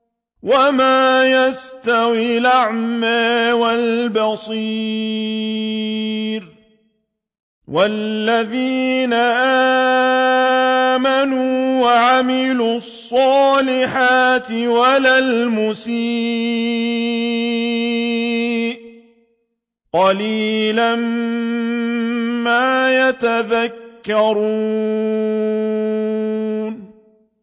وَمَا يَسْتَوِي الْأَعْمَىٰ وَالْبَصِيرُ وَالَّذِينَ آمَنُوا وَعَمِلُوا الصَّالِحَاتِ وَلَا الْمُسِيءُ ۚ قَلِيلًا مَّا تَتَذَكَّرُونَ